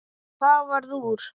Og það varð úr.